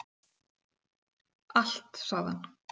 Allt sagði hann.